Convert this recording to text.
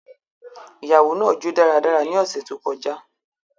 Iyawo naa jo daradara ni ọsẹ to kọja.